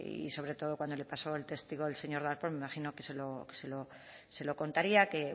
y sobre todo cuando le pasó el testigo el señor darpón me imagino que se lo contaría que